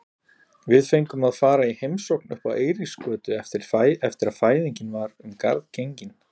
Við fengum að fara í heimsókn uppá Eiríksgötu eftir að fæðingin var um garð gengin.